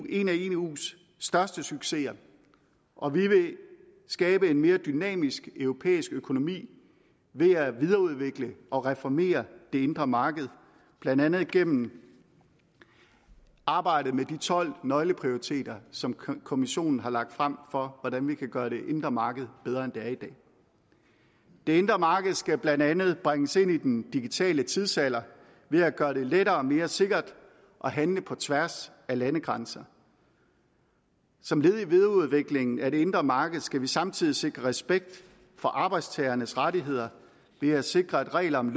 en af eus største succeser og vi vil skabe en mere dynamisk europæisk økonomi ved at videreudvikle og reformere det indre marked blandt andet gennem arbejdet med de tolv nøgleprioriteter som kommissionen har lagt frem for hvordan vi kan gøre det indre marked bedre end det er i dag det indre marked skal blandt andet bringes ind i den digitale tidsalder ved at gøre det lettere og mere sikkert at handle på tværs af landegrænser som led i en videreudvikling af det indre marked skal vi samtidig sikre respekt for arbejdstagernes rettigheder ved at sikre at reglerne